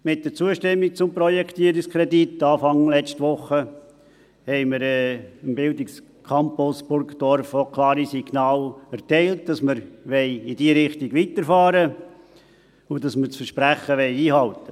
Mit der Zustimmung zum Projektierungskredit anfangs letzter Woche, haben wir dem Bildungscampus Burgdorf auch klare Signale erteilt, dass wir in diese Richtung fortfahren wollen, und dass wir das Versprechen einhalten wollen.